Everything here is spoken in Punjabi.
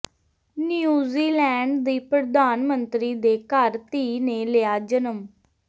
ਨਿਊਜ਼ੀਲੈਂਡ ਦੀ ਪ੍ਰਧਾਨ ਮੰਤਰੀ ਦੇ ਘਰ ਧੀ ਨੇ ਲਿਆ ਜਨਮ